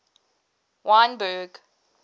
wynberg